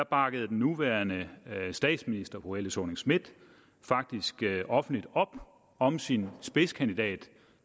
bakkede den nuværende statsminister fru helle thorning schmidt faktisk offentligt op om sin spidskandidat